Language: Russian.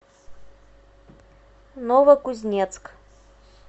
новокузнецк